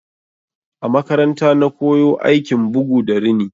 A makaranta na koyo aikin bugu da rini.